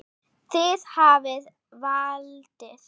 Þið hafið valdið.